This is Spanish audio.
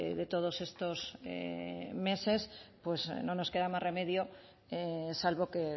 de todos estos meses pues no nos queda más remedio salvo que